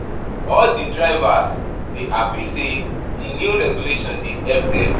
All di drivers dey hapi sey di new regulations dey help dem.